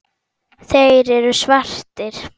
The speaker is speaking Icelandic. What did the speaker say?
Þeir eru svartir.